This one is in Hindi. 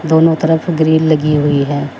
दोनों तरफ ग्रिल लगी हुई है।